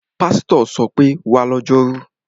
Pásítọ̀ ṣọ pé, 'wá lọ́jọ́rú!'